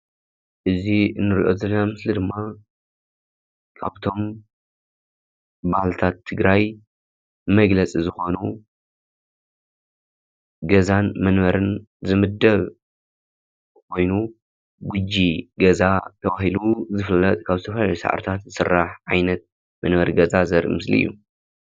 እዚ እንሪኦ ምስሊ ድማ ካብቶም ባህልታት ትግራይ መግለፂ ዝኾኑ ገዛን መንበርን ዝምደብ ኮይኑ ጎጆ ገዛ ተባሂሉ ዝፍለጥ ካብ ዝተፈላለዩ ሰዓርታት ዝስራሕ ዓይነት መንበሪ እዩ፡፡